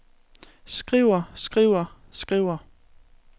skriver skriver skriver